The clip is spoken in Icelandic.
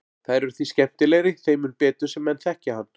Þær eru því skemmtilegri þeim mun betur sem menn þekkja hann.